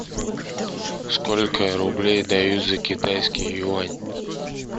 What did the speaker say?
сколько рублей дают за китайский юань